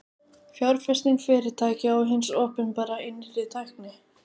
Fjárfesting fyrirtækja og hins opinbera í nýrri tækni.